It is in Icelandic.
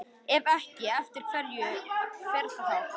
Ef ekki, eftir hverju fer það þá?